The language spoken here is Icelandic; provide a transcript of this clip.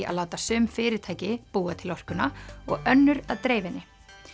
að láta sum fyrirtæki búa til orkuna og önnur að dreifa henni